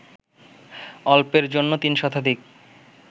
অল্পের জন্য ৩ শতাধিক